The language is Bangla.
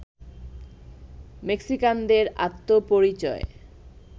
মেক্সিকানদের আত্মপরিচয়